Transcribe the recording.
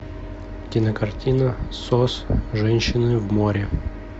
кинокартина сос женщины в море